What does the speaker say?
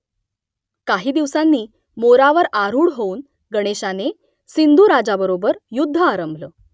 काही दिवसांनी मोरावर आरूढ होऊन गणेशाने सिंधू राजाबरोबर युध्द आरंभलं